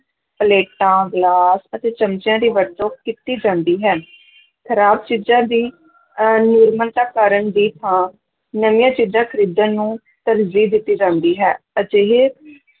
ਪਲੇਟਾਂ, ਗਲਾਸ ਅਤੇ ਚਮਚਿਆਂ ਦੀ ਵਰਤੋਂ ਕੀਤੀ ਜਾਂਦੀ ਹੈ ਖ਼ਰਾਬ ਚੀਜਾਂ ਦੀ ਅਹ ਮੁਰੰਮਤ ਕਰਨ ਦੀ ਥਾਂ ਨਵੀਆਂ ਚੀਜ਼ਾਂ ਖ਼ਰੀਦਣ ਨੂੰ ਤਰਜੀਹ ਦਿੱਤੀ ਜਾਂਦੀ ਹੈ, ਅਜਿਹੇ